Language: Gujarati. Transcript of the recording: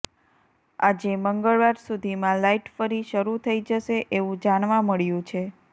આજે મંગળવાર સુધીમાં લાઇટ ફરી શરૂ થઈ જશે એવું જાણવા મળ્યું છે